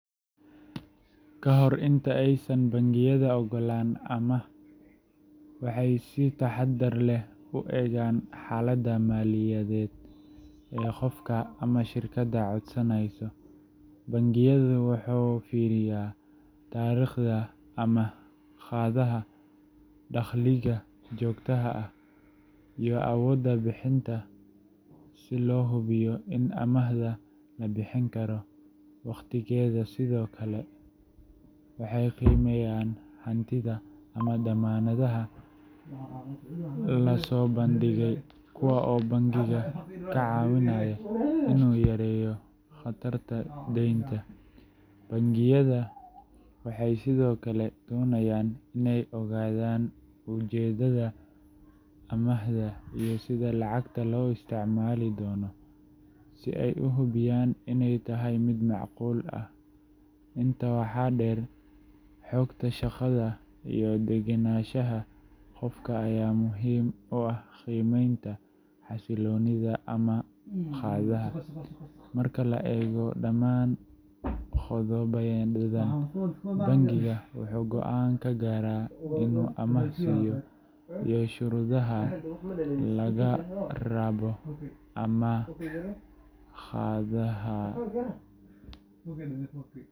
Ka hor inta aysan bangiyada oggolan amaah, waxay si taxaddar leh u eegaan xaaladda maaliyadeed ee qofka ama shirkadda codsanaysa. Bangigu wuxuu fiiriyaa taariikhda amaah-qaadaha, dakhliga joogtada ah, iyo awoodda bixinta si loo hubiyo in amaahda la bixin karo wakhtigeeda. Sidoo kale, waxay qiimeeyaan hantida ama dammaanadaha la soo bandhigay, kuwaas oo bangiga ka caawinaya inuu yareeyo khatarta deynta. Bangiyada waxay sidoo kale doonayaan inay ogaadaan ujeedada amaahda iyo sida lacagta loo isticmaali doono, si ay u hubiyaan inay tahay mid macquul ah. Intaa waxaa dheer, xogta shaqada iyo degenaanshaha qofka ayaa muhiim u ah qiimeynta xasilloonida amaah-qaadaha. Marka la eego dhammaan qodobadan, bangigu wuxuu go’aan ka gaaraa inuu amaah siiyo iyo shuruudaha laga rabo amaah-qaadaha.